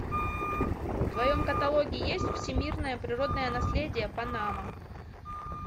в твоем каталоге есть всемирное природное наследие панама